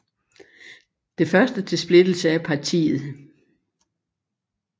Det første til splittelse af partiet